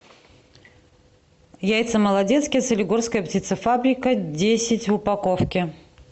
яйца молодецкие солигорская птицефабрика десять в упаковке